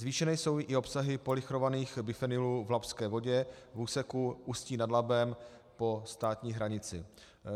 Zvýšené jsou i obsahy polychlorovaných bifenylů v labské vodě v úseku Ústí nad Labem po státní hranici.